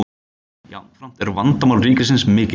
jafnframt eru vandamál ríkisins mikil